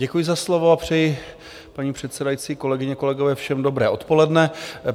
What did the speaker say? Děkuji za slovo a přeji, paní předsedající, kolegyně, kolegové, všem dobré odpoledne.